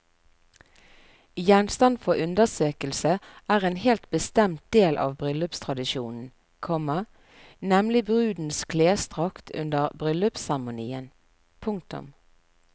Gjenstand for undersøkelse er en helt bestemt del av bryllupstradisjonen, komma nemlig brudens klesdrakt under bryllupsseremonien. punktum